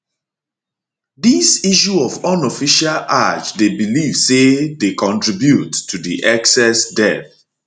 dis issue of unofficial hajj dey believed say dey contribute to di excess deaths